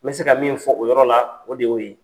N bɛ se ka min fɔ o yɔrɔ la o de y'o ye.